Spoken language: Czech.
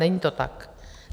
Není to tak.